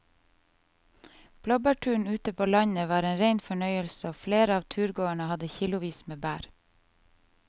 Blåbærturen ute på landet var en rein fornøyelse og flere av turgåerene hadde kilosvis med bær.